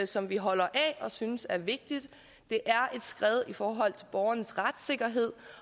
som vi holder af og synes er vigtigt det er et skred i forhold til borgernes retssikkerhed